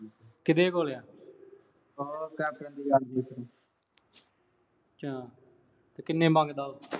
ਕਿਹਦੇ ਕੋਲੇ ਆ। ਓ ਅੱਛਾ। ਤੇ ਕਿੰਨੇ ਮੰਗਦਾ ਉਹੋ।